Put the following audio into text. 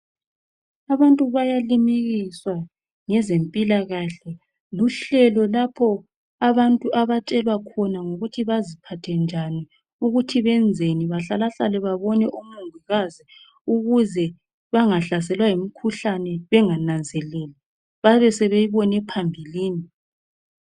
Abantu bayalimikiswa ngezempilakahle. Luhlelo lapho abantu abatshelwa khona ngokuthi baziphathe njani ukuthi benzeni bahlalahlale babone omongikazi ukuze bangahlaselwa yimikhuhlane bangananzeleli, babesebeyibone phambilini.